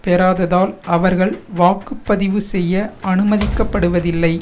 பெறாததால் அவர்கள் வாக்கு பதிவு செய்ய அனுமதிக்கப்படுவதில்லை